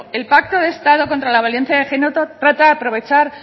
el pacto de estado contra la violencia de género trata de aprovechar